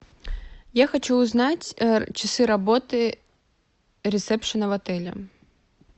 я хочу узнать часы работы ресепшена в отеле